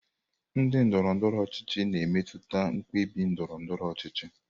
Ndị ndọrọ ndọrọ ọchịchị na-emetụta mkpebi ndọrọ ndọrọ ọchịchị.